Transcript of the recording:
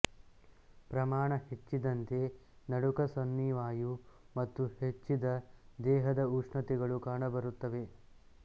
ಪ್ರಮಾಣ ಹೆಚ್ಚಿದಂತೆ ನಡುಕ ಸನ್ನಿವಾಯು ಮತ್ತು ಹೆಚ್ಚಿದ ದೇಹದ ುಷ್ಣತೆಗಳು ಕಾಣಬರುತ್ತವೆ